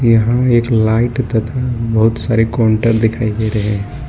यहां मे एक लाइट तथा बहुत सारे काउंटर दिखाइ दे रहे है।